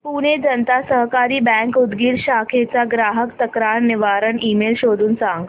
पुणे जनता सहकारी बँक उदगीर शाखेचा ग्राहक तक्रार निवारण ईमेल शोधून सांग